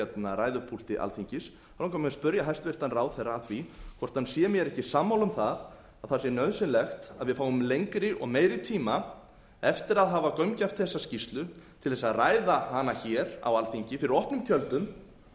ræðupúlti alþingis langar mig að spyrja hæstvirtan ráðherra að því hvort hann sé mér ekki sammála um það að það sé nauðsynlegt að við fáum lengri og meiri tíma eftir að hafa gaumgæft þessa skýrslu til þess að ræða hana hér á alþingi fyrir opnum tjöldum